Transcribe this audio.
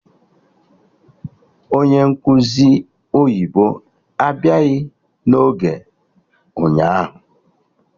Onye nkụzi oyibo abịaghị n'oge ụnyaahụ